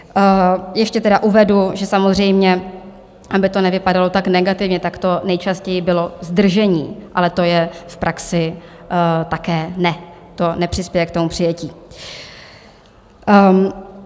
Ještě tedy uvedu, že samozřejmě, aby to nevypadalo tak negativně, tak to nejčastěji bylo zdržení, ale to je v praxi také NE, to nepřispěje k tomu přijetí.